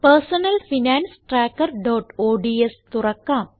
personal finance trackerഓഡ്സ് തുറക്കാം